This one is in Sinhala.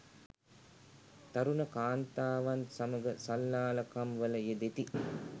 තරුණ කාන්තාවන් සමග සල්ලාලකම් වල යෙදෙති.